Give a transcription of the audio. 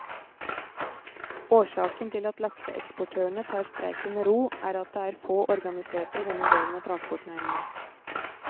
Årsaken til at lakseeksportørene tar streiken med ro er at det er få organiserte i denne delen av transportnæringen.